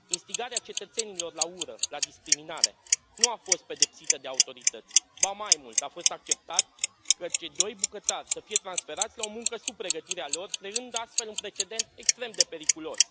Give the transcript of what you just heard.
Instigarea cetățenilor la ură, la discriminare nu a fost pedepsită de autorități, ba mai mult, a fost acceptat ca cei doi bucătari să fie transferați la o muncă sub pregătirea lor, creând astfel un precedent extrem de periculos.